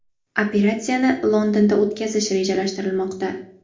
Operatsiyani Londonda o‘tkazish rejalashtirilmoqda.